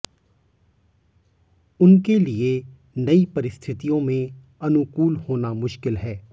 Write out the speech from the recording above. उनके लिए नई परिस्थितियों में अनुकूल होना मुश्किल है